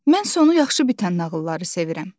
Mən sonu yaxşı bitən nağılları sevirəm.